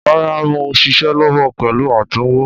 Rárá mò ń ṣiṣẹ́ lọ́wọ́ pẹ̀lú àtúnwò.